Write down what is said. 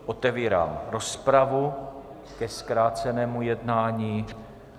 Otevírám rozpravu ke zkrácenému jednání.